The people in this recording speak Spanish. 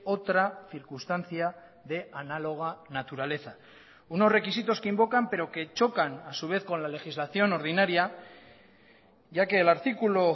otra circunstancia de análoga naturaleza unos requisitos que invocan pero que chocan a su vez con la legislación ordinaria ya que el artículo